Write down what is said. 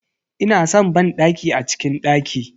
Ina san banɗaki a cikin daki.